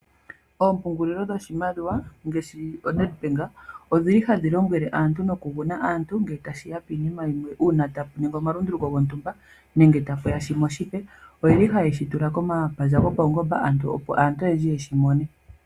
Oompungulilo dhoshimaliwa ngaashi ONedbank odhili hadhi lombwele aantu noku guna ngele tashiya kiinima yimwe ngele tapuya oma lunduluko gontumba nenge tapuya shimwe oshipe oyeli haye shitula komapandja go pawungomba opo aantu oyendji yeshi mone.